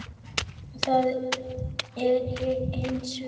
Það er ég hins vegar.